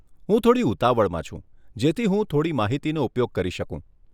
હું થોડી ઉતાવળમાં છું જેથી હું થોડી માહિતીનો ઉપયોગ કરી શકું.